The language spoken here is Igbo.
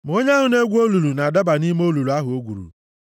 Ma onye ahụ na-egwu olulu na-adaba nʼime olulu ahụ o gwuru.